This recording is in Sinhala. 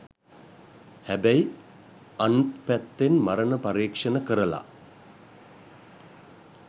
හැබැයි අන්ත් පැත්තෙන් මරණ පරීක්ෂණ කරල